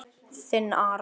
Þinn, Aron.